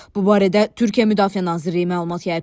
Bu barədə Türkiyə Müdafiə Nazirliyi məlumat yayıb.